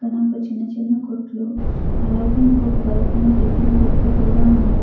చిన్న చిన్న కోట్లు అలాగే ఇంకొక వైపు టిఫిన్ కోట్లు కూడా ఉన్నవి.